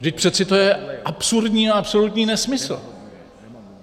Vždyť přeci to je absurdní a absolutní nesmysl.